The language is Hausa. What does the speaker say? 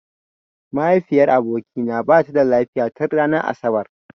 Mahaifiyar abokina bata da lafiya tin ranar asabar.